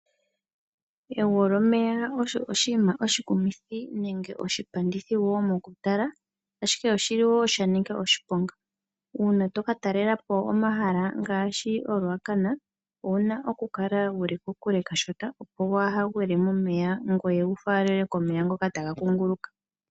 Egwo lyomeya osho oshinima oshikumithi nenge oshitondithi woo mokutala ashike oshili sha nika oshiponga. Uuna toka talelapo omahala ngaashi oRuacana owuna okukala wuli kokule kashona opo kuhagwile momeya ngoye wu faalelwe komeya ngoka taga kunguluka.